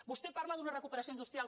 vostè parla d’una recuperació industrial